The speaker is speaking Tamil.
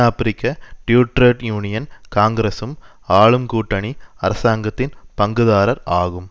ஆபிரிக்க ட்ரேட் யூனியன் காங்கிசுரம் ஆளும் கூட்டணி அரசாங்கத்தின் பங்குதாரர் ஆகும்